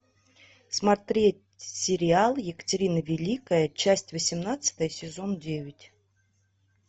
смотреть сериал екатерина великая часть восемнадцатая сезон девять